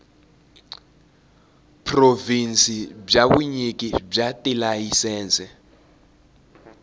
provhinsi bya vunyiki bya tilayisense